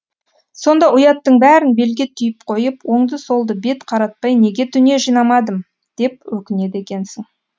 сонда ұяттың бәрін белге түйіп қойып оңды солды бет қаратпай неге дүние жинамадым деп өкінеді екенсің